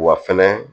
Wa fɛnɛ